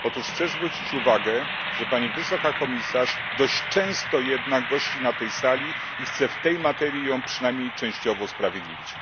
Otóż chcę zwrócić uwagę, że pani wysoka komisarz dość często jednak gości na tej sali i chcę w tej materii ją przynajmniej częściowo usprawiedliwić.